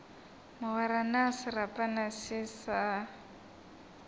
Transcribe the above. mogwera na serapana se sa